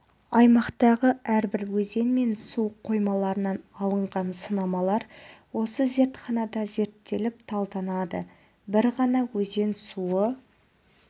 аймақтағы әрбір өзен мен су қоймаларынан алынған сынамалар осы зертханада зерттеліп талданады бір ғана өзен суы